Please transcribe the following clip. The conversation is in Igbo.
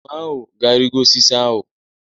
Enwe ahụ ga-arịgo osisi ahụ.